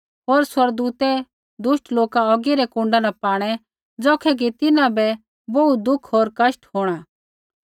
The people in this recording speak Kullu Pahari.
होर स्वर्गदूतै दुष्ट लोका औगी रै कुण्डा न पाणै ज़ौखै कि तिन्हां बै बोहू दुख होर कष्ट होंणा